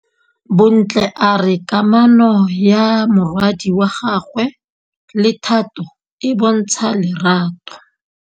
Bontle a re kamanô ya morwadi wa gagwe le Thato e bontsha lerato.